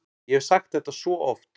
Ég hef sagt þetta svo oft.